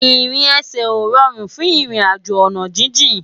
Irin èsè ó ròrún fún irin àjó àná jijin